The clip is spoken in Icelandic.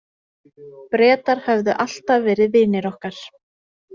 Bretar höfðu alltaf verið vinir okkar.